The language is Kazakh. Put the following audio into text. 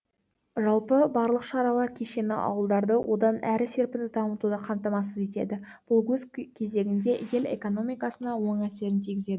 жалпы барлық шаралар кешені ауылдарды одан әрі серпінді дамытуды қамтамасыз етеді бұл өз кезегінде ел экономикасына оң әсерін тигізеді